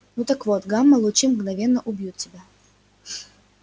ну так вот гамма лучи мгновенно убьют тебя